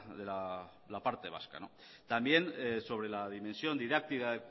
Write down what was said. de la parte vasca también sobre la dimensión didáctica